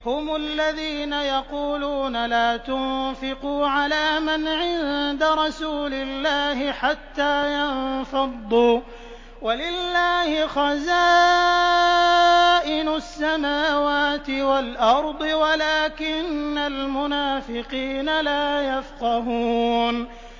هُمُ الَّذِينَ يَقُولُونَ لَا تُنفِقُوا عَلَىٰ مَنْ عِندَ رَسُولِ اللَّهِ حَتَّىٰ يَنفَضُّوا ۗ وَلِلَّهِ خَزَائِنُ السَّمَاوَاتِ وَالْأَرْضِ وَلَٰكِنَّ الْمُنَافِقِينَ لَا يَفْقَهُونَ